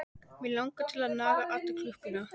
Mig langar til að naga alla klukkuna.